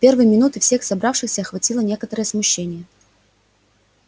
в первые минуты всех собравшихся охватило некоторое смущение